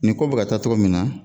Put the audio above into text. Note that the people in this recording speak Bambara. Nin ko bɛ ka taa cɔgɔ min na